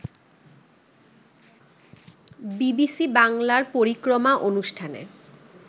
BBC বাংলার পরিক্রমা অনুষ্ঠানে